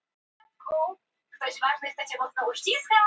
Telur þú að fólk hafi ríkari þörf núna til þess að láta rödd sína heyrast?